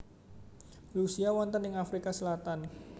Lucia wonten ing Afrika Selatan